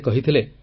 ସେ କହିଥିଲେ